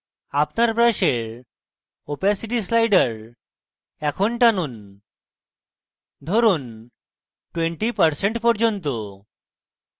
আপনার brush opacity slider টানুন ধরুন 20% পর্যন্ত